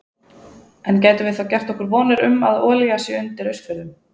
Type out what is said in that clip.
En gætum við þá gert okkur vonir um að olía sé undir Austfjörðum?